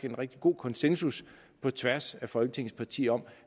en rigtig god konsensus på tværs af folketingets partier om